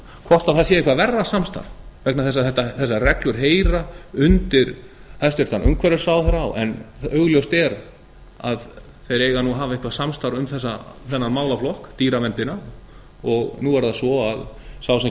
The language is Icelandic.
hvort það sé eitthvað verra samstarf vegna þess að þessar reglur heyra undir hæstvirtur umhverfisráðherra en augljóst er að þeir eiga að hafa eitthvað samstarf um þennan málaflokk dýraverndina og nú er það svo að sá sem